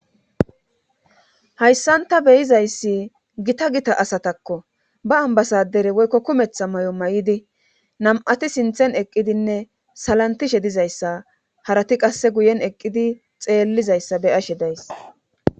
Hayssanta beyizayssi gita gita asatakko ba ambasadere woykko kumeththa may7o may7idi nam7ati sinthen eqqidinne salantishe dizayssa harati qasse guyen eqqidi xeellizayssa beyashe days.